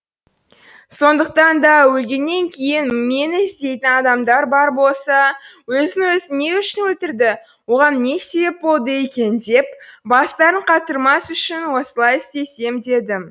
сондықтан да өлгеннен кейін мені іздейтін адамдар бар болса өзін өзі не үшін өлтірді оған не себеп болды екен деп бастарын қатырмас үшін осылай істесем дедім